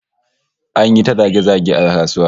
An yi ta zage-zage a kasuwa